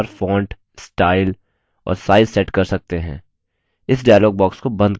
इस dialog box को बंद करते हैं